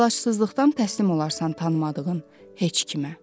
Əlacsızlıqdan təslim olarsan tanımadığın heç kimə.